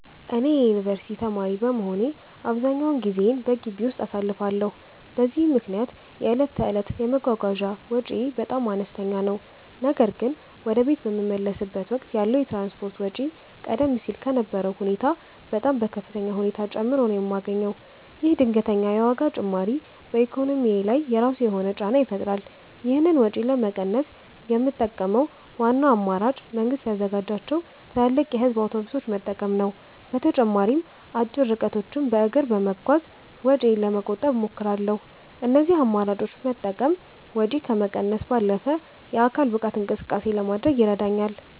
እኔ የዩኒቨርሲቲ ተማሪ በመሆኔ አብዛኛውን ጊዜዬን በግቢ ውስጥ አሳልፋለሁ፤ በዚህም ምክንያት የዕለት ተዕለት የመጓጓዣ ወጪዬ በጣም አነስተኛ ነው። ነገር ግን ወደ ቤት በምመለስበት ወቅት ያለው የትራንስፖርት ወጪ ቀደም ሲል ከነበረው ሁኔታ በጣም በከፍተኛ ሁኔታ ጨምሮ ነው የማገኘው። ይህ ድንገተኛ የዋጋ ጭማሪ በኢኮኖሚዬ ላይ የራሱ የሆነ ጫና ይፈጥራል። ይህንን ወጪ ለመቀነስ የምጠቀመው ዋናው አማራጭ መንግስት ያዘጋጃቸውን ትላልቅ የህዝብ አውቶቡሶች መጠቀም ነው። በተጨማሪም አጭር ርቀቶችን በእግር በመጓዝ ወጪዬን ለመቆጠብ እሞክራለሁ። እነዚህን አማራጮች መጠቀም ወጪን ከመቀነስ ባለፈ የአካል ብቃት እንቅስቃሴ ለማድረግም ይረዳኛል።